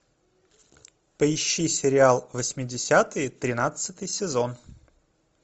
поищи сериал восьмидесятые тринадцатый сезон